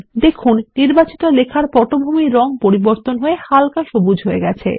দেখুন নির্বাচিত লেখার পটভূমির রঙ পরিবর্তন হয় হাল্কা সবুজ হয়ে গেছে